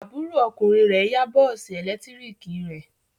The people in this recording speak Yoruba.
Àbúrò ọkùnrin rẹ̀ yá bọ́ọ́sì ẹ̀lẹ́tíríkì rẹ̀.